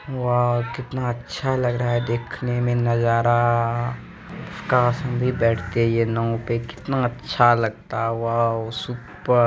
वाव कितना अच्छा लग रहा है देखने में नजारा काश हम भी बैठते ये नाव पे कितनाअच्छा लगता वाव सुपर्ब ---